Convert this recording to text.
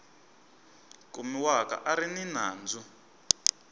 kumiwaka a ri ni nandzu